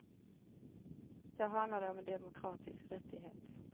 Då handlar det om en demokratisk rättighet.